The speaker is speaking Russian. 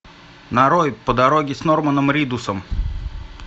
нарой по дороге с норманом ридусом